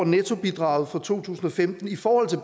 nettobidraget for to tusind og femten i forhold til